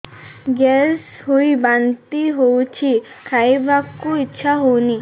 gas ହୋଇ ବାନ୍ତି ହଉଛି ଖାଇବାକୁ ଇଚ୍ଛା ହଉନି